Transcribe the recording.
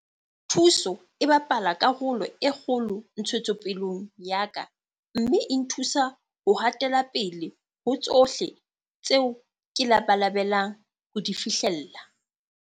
Thuto e bapala karolo e kgolo ntshetsopeleng ya ka mme e nthusa ho ha tela pele ho tsohle tseo ke labalabelang ho di fihlella.